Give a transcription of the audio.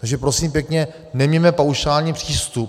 Takže prosím pěkně, neměňme paušálně přístup.